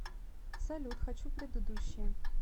салют хочу предыдущее